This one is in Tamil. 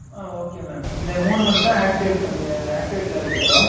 ஆஹ் okay mam இந்த மூணு மட்டும் activate ல இருக்கட்டும்